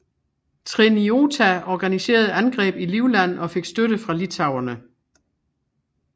Treniota organiserede angreb i Livland og fik støtte fra litauerne